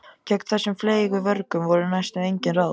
Gegn þessum fleygu vörgum voru næstum engin ráð.